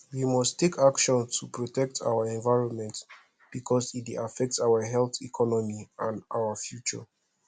we must take action to protect our environment because e dey affect our health economy and our future